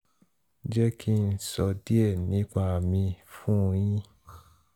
jé kí n sọ díè nípa mi fún un yín